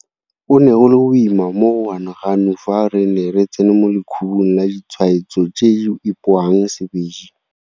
Go ne go le boima mo go Ganuganu fa re ne re tsena mo lekhubung la ditshwaetso tse di ipoang sebedi.